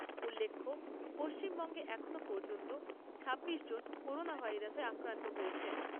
উল্লেখ্য পশ্চিমবঙ্গে এখনও পর্যন্ত ছাব্বিশ জন করোনা ভাইরাসে আক্রান্ত হয়েছেন।